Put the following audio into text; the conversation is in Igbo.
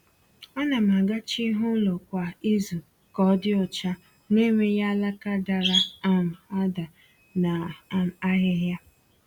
A na m agacha ihu ụlọ kwa izu ka ọ dị ọcha, na-enweghị alaka dara um ada na um ahịhịa